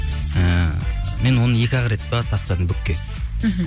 ііі мен оны екі ақ рет пе тастадым букке мхм